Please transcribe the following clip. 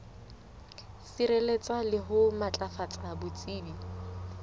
sireletsa le ho matlafatsa botsebi